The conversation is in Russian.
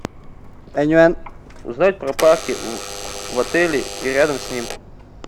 узнать про парки в отеле и рядом с ним